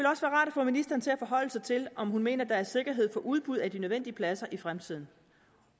få ministeren til at forholde sig til om hun mener at der er sikkerhed for udbud af de nødvendige pladser i fremtiden